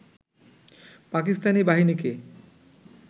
পাকিস্তানি বাহিনীকে